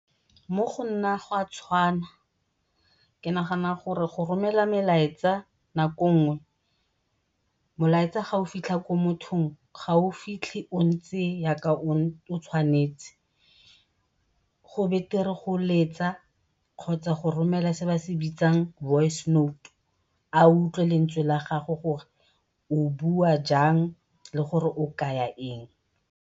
Mo go nna go a tshwana ke nagana gore go romela melaetsa nako e nngwe, molaetsa fa o fitlha ko mothong ga o fitlhe ontse o tshwanetse. Go betere go letsa kgotsa go romela se ba se bitsang voice note, a utlwe lentswe la gago gore o bua jang le gore o kaya eng.